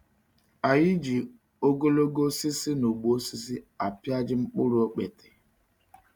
An yi ji ogologo osisi na ụgbọ osisi apịaja mkpụrụ okpete.